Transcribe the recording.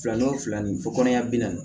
Fila n'o fila ni fo kɔnɔ ɲɛ bi naani